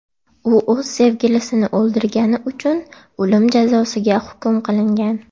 U o‘z sevgilisini o‘ldirgani uchun o‘lim jazosiga hukm qilingan.